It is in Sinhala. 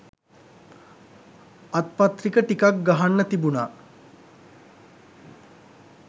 අත්පත්‍රික ටිකක් ගහන්න තිබුන